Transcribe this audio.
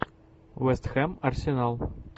вест хэм арсенал